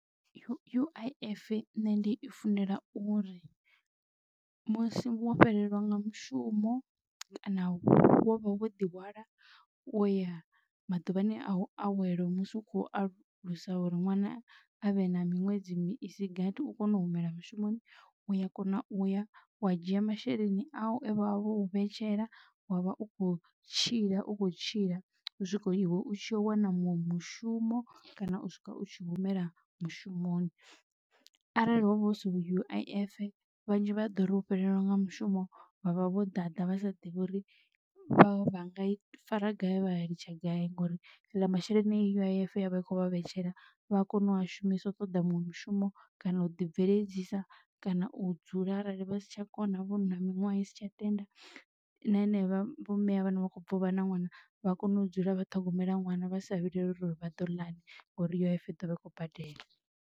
U_I_F nne ndi i funela uri musi wo fhelelwa nga mushumo kana wo vha wo ḓi hwala wo ya maḓuvhani a u awela musi u khou alusa uri ṅwana avhe na miṅwedzi isi gathi u kone u humela mushumoni uya kona uya wa dzhia masheleni au e vhavha vhou vhetshela wavha u kho tshila u kho tshila u swika iwe u tshi wana munwe mushumo kana u swika u tshi humela mushumoni. Arali hovha hu si U_I_F vhanzhi vha ḓo ri u fhelelwa nga mushumo vhavha vho ḓaḓa vha sa ḓivhi uri vha vhanga fara gai vhalitsha gai ngori aḽa masheleni a U_I_F yavha i kho vha vhetshela vha kone u a shumisa u ṱoḓa muṅwe mushumo kana u ḓi bveledzisa kana u dzula arali vha si tsha kona u vhona miṅwaha isi tsha tenda na ine vho mme a vhana vha kho bva u vha na ṅwana vha kone u dzula vha ṱhogomela ṅwana vha sa vhileli uri vhado ḽani ngori U_I_F iḓo vha i khou badela.